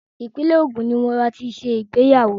Ìpínlẹ̀ Ògùn ní mo máa ti ṣe ìgbéyàwó.